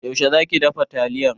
Yaushe za ki dafa taliyar?